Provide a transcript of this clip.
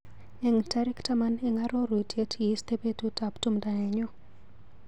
Eng tarik taman eng arorutiet, iiste betutap tumdo nenyu.